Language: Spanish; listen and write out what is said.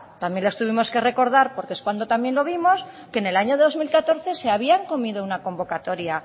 también les tuvimos que recordar porque es cuando también lo vimos que en el año dos mil catorce se habían comido una convocatoria